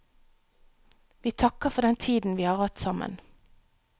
Vi takker for den tiden vi har hatt sammen.